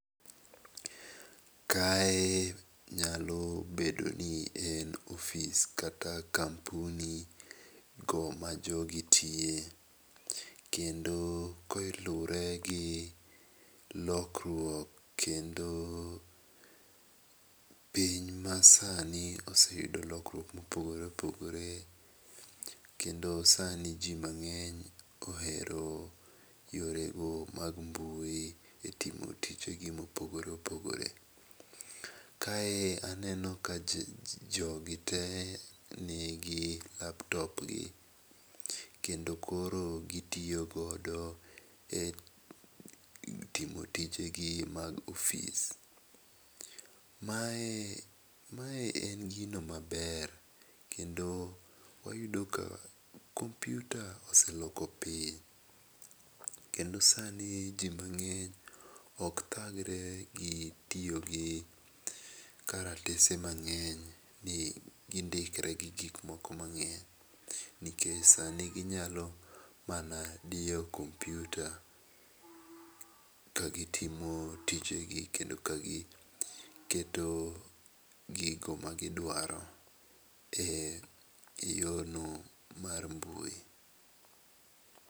Kae nyalo bedo nien ofis kata kampuni go ma jogi tiye kendo kolure gi lokruok kendo piny masani ose yudo lokruok mopogore opogore kendo sani ji mang'eny ohero yorego mag mbui e timo tije gi mopogore opogore. Kae aneno ka jogi te nigi laptop gi kendo koro gitiyo godo e timo tijegi mag ofis. Mae mae en gino maber kendo oyudo ka kompiuta oseloko piny kendo sani ji mang'eny ok thagre gi tiyo gi kalatese mang'eny, gindikre gi gik moko mang'eny nikech sani ginyalo mana diyo kompiuta ka gitimo tije gi kendo ka giketo gigo magidwaro eyorno mar mbui.